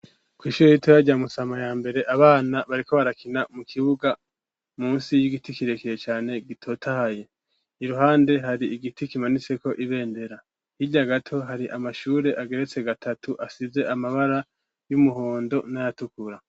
Kw'Ishure ritoya rya Musama yambere, Abana bariko barakina mukibiga, Munsi y'Igiti kirekire cane gitotahaye. Iruhande hari Igiti kimanitse ko Ibendera, Hirya gato hari Amashure Ageretse gatatu asize Amabara Y'umuhondo n'Ayatukura.